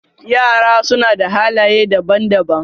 Yara suna da halaye daban-daban.